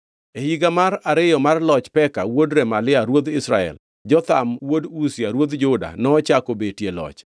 E higa mar ariyo mar loch Peka wuod Remalia ruodh Israel, Jotham wuod Uzia ruodh Juda nochako betie loch.